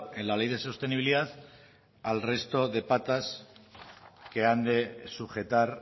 en la ley de sostenibilidad al resto de patas que han de sujetar